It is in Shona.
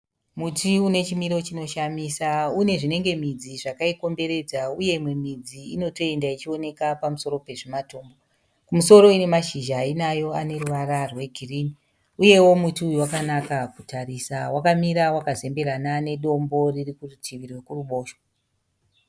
Muti une chimiro chinoshamisa. Unew zvinenge midzi zvakaikomberedza uye imwe midzi inotoenda ichionekwa pamusoro pezvimatombo. Kumusoro ine mashizha ayinayo ane ruvara rwegirini. Uyewo muti uyu wakanaka kutarisa. Wakamira wakazemberana nedombo riri kurutivi rwekuruboshwe.